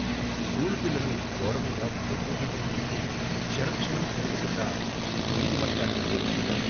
School పిల్లలు గోడమీద బొగ్గుగీతలు గీసి క్షణ క్షణం పెరుగుగున్న నీటి మట్టాన్ని కొలుస్తున్నారు.